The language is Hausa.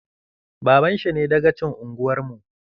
Baban shi ne dagacin unguwar mu